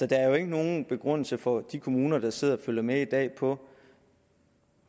der er jo ikke nogen begrundelse for de kommuner der sidder og følger med i dag for